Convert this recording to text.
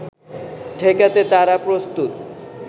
ঠেকাতে তারা প্রস্তুত